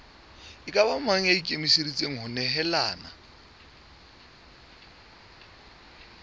mang ya ikemiseditseng ho nehelana